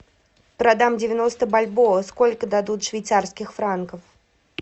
продам девяноста бальбоа сколько дадут швейцарских франков